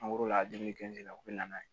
a dumuni la u bɛ na n'a ye